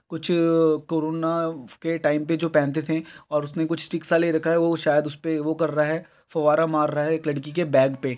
कुछ कोरोना के टाइम पे जो पहनते थे और उसने कुछ स्टिक सा ले रखा वो शायद उसपे वो कर रहा फवारा मार रहा है एक लड़की के बैग पे ।